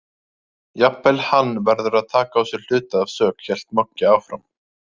Jafnvel hann verður að taka á sig hluta af sök, hélt Moggi áfram.